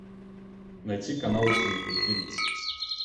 найти канал зи на ти ви